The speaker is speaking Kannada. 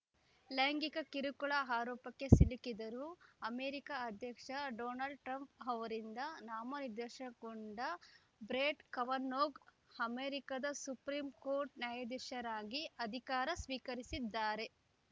ಲೈಂಗಿಕ ಕಿರುಕುಳ ಆರೋಪಕ್ಕೆ ಸಿಲುಕಿದ್ದರೂ ಅಮೆರಿಕ ಅಧ್ಯಕ್ಷ ಡೊನಾಲ್ಡ್ ಟ್ರಂಪ್‌ ಅವರಿಂದ ನಾಮ ನಿರ್ದೇಶನಗೊಂಡ ಬ್ರೆಟ್‌ ಕವನೌಗ್‌ ಅಮೆರಿಕಸುಪ್ರೀಂಕೋರ್ಟ್‌ ನ್ಯಾಯಾಧೀಶರಾಗಿ ಅಧಿಕಾರ ಸ್ವೀಕರಿಸಿದ್ದಾರೆ